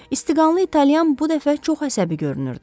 İstiqanlı italyan bu dəfə çox əsəbi görünürdü.